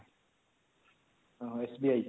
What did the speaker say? ହଁ SBI